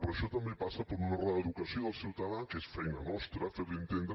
però això també passa per una reeducació del ciutadà que és feina nostra fer li entendre